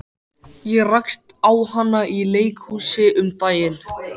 Ég rakst á hana í leikhúsi um daginn.